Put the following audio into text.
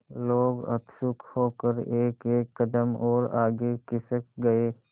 लोग उत्सुक होकर एकएक कदम और आगे खिसक गए